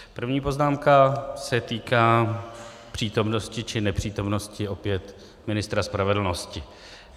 První poznámka se týká přítomnosti či nepřítomnosti opět ministra spravedlnosti.